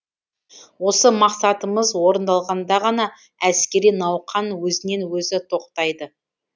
осы мақсатымыз орындалғанда ғана әскери науқан өзінен өзі тоқтайды